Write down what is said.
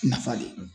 Nafa de